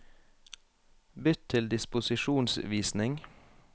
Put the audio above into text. Bytt til disposisjonsvisning